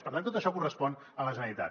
per tant tot això correspon a la generalitat